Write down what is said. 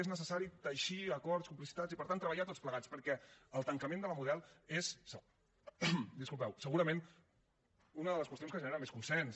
és necessari teixir acords complicitats i per tant treballar tots plegats perquè el tancament de la model és segurament una de les qüestions que genera més consens